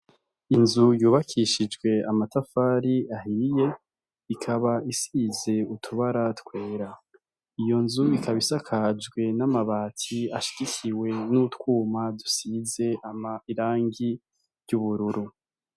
Inzu yubakishijwe amatafari ahiye ikaba isize utubara twera, iyo nzu ikaba isakajwe n'amabati ashigikiwe n'utwuma dusize irangi ry'ubururu.